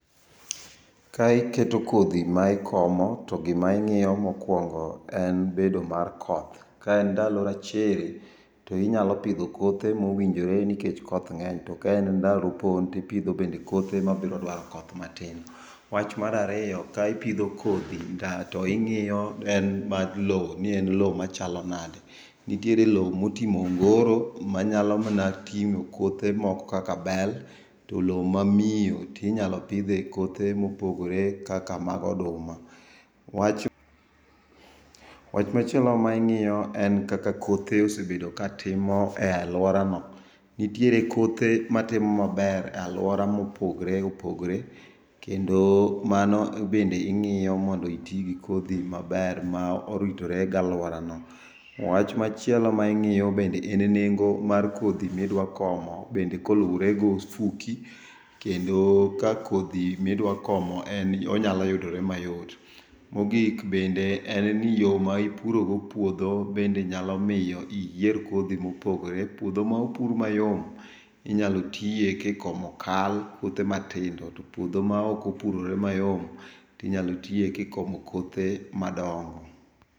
Ka ikoto kodhi ma ikomo to gima ing'iyo mokwongo en bed mar koth. Kaen ndalo chiri, to inyalo pidho kothe mowinjore nikech koth ng'eny. To kaen ndalo opon, to ipidho bende kothe mabiro dwaro koth matin. Wach mar ariyo, ka ipodho kodhi ga to ing'iyo en mar lo ni en lo machalo nade. Nitiere lo motimo ongoro ma nyalo mana ting'o kothe moko kakak bel, to lo ma miyo tinyalo pidhe kothe mopogore kaka mag oduma. Wach machielo ma ing'iyo en kaka kothe osebedo ka timo e alworano. Nitiere kothe matimo maber e alwora mopogre opogre . Kendo mano bende ing'iyo mondo iti gi kodhi maber ma oritore gi alworano. Wach machielo ma ing'iyo bende en nengo mar kodhi midwa komo bende koluwore gofuki. Kendo ka kodhi midwa komo en onyalo yudore mayot. Mogik bende en ni yo ma ipurogo puodho bende nyalo miyo iyier kodhi mopogore. Puodho ma opur mayom inyalo tiye kikomo kal puothe matindo. To puodho ma ok opurore mayom, tinyalo tiye kikomo kothe madongo.